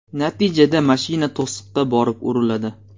Natijada mashina to‘siqqa borib uriladi.